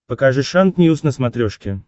покажи шант ньюс на смотрешке